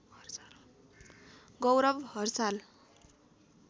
गौरव हरसाल